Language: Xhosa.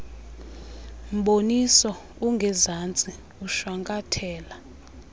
mboniso ungezantsi ushwankathela